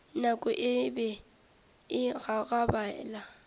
nako e be e gagabela